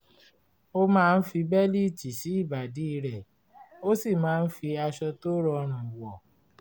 ó máa ń fi bẹ́líìtì sí ìbàdí rẹ̀ ó sì máa ń fi aṣọ tó rọrùn wọ̀